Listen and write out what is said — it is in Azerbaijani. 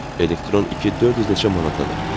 Elektron 2 400 neçə manatadır.